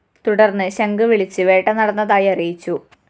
തുടര്‍ന്ന് ശംഖ് വിളിച്ച് വേട്ട നടന്നതായി അറിയിച്ചു